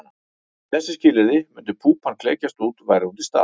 Við þessi skilyrði myndi púpan klekjast út væri hún til staðar.